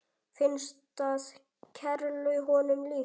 Finnst það kerlu honum líkt.